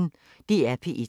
DR P1